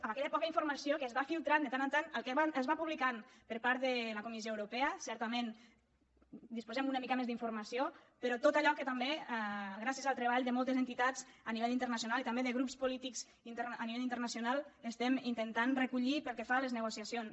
amb aquella poca informació que es va filtrant de tant en tant el que es va publicant per part de la comissió europea certament disposem d’una mica més d’informació però tot allò que també gràcies al treball de moltes entitats a nivell internacional i també de grups polítics a nivell internacional estem intentant recollir pel que fa a les negociacions